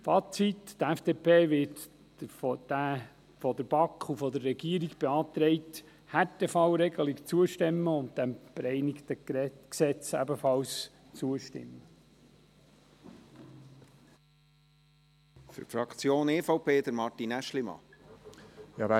Fazit: Die FDP wird der von der BaK und der Regierung beantragten Härtefallregelung zustimmen und ebenfalls dem bereinigten Gesetz.